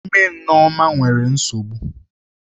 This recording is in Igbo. Ime Nneoma nwere nsogbu.